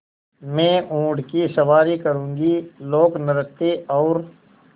मैं ऊँट की सवारी करूँगी लोकनृत्य और